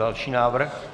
Další návrh.